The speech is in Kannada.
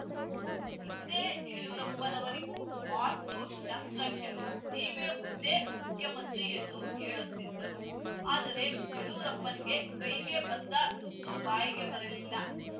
ಹಿಂದೆ ಯಡ್ಯೂರಪ್ಪನವರಿಗೂ ವಾಸ್ತುಶಾಸ್ತ್ರಜ್ಞರು ನೀವೇ ಮುಂದೆ ಮುಖ್ಯಮಂತ್ರಿ ಎಂದು ಹೇಳುತ್ತಿದ್ದರು ಆದರೆ ಯಡ್ಯೂರಪ್ಪಗೆ ಕೈಗೆ ಬಂದ ತುತ್ತು ಬಾಯಿಗೆ ಬರಲಿಲ್ಲ